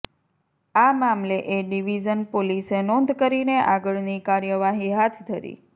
આ મામલે A division પોલીસે નોંધ કરીને આગળની કાર્યવાહી હાથ ધરી